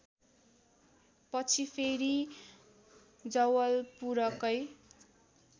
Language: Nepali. पछि फेरि जवलपुरकै